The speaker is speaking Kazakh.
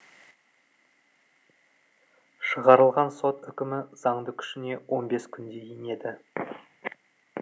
шығарылған сот үкімі заңды күшіне он бес күнде енеді